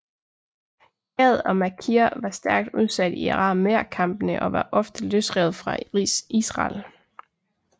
Gad og Makir var stærkt udsat i aramæerkampene og var ofte løsrevet fra Israel